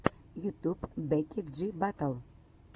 ютуб бекки джи батл